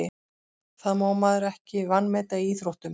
Það má maður ekki vanmeta í íþróttum.